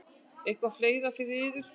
Eitthvað fleira fyrir yður?